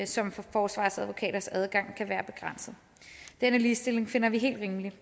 som forsvarsadvokaters adgang kan være begrænset denne ligestilling finder vi helt rimelig